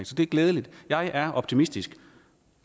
så det er glædeligt jeg er optimistisk